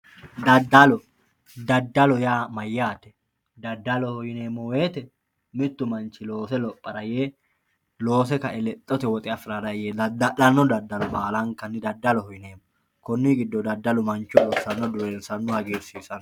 daddalo, daddalo yaa mayyaate? dadaloho yineemmo woyiite mittu manchi lophara yee loose ka"e lexxote woxe afirara yee dadda'lanno daddalo baalanka daddaloho yineemmo konni giddoyi daddalu mancho dureensanno